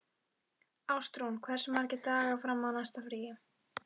Ástrún, hversu margir dagar fram að næsta fríi?